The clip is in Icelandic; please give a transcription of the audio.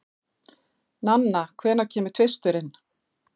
Nanna, hvenær kemur tvisturinn?